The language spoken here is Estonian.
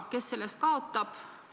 Kes sellest kaotab?